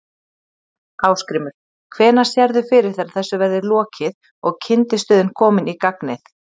Ásgrímur: Hvenær sérðu fyrir þér að þessu verði lokið og kyndistöðin komin í gagnið?